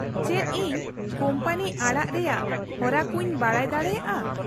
-ᱪᱮᱫ ᱤᱧ ᱠᱳᱢᱯᱟᱱᱤ ᱟᱲᱟᱜ ᱨᱮᱭᱟᱜ ᱦᱚᱨᱟ ᱠᱚᱧ ᱵᱟᱰᱟᱭ ᱫᱟᱲᱮᱭᱟᱜᱼᱟ ?